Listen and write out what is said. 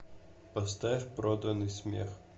поставь проданный смех